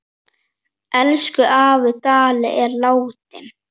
Elsku afi Dalli er látinn.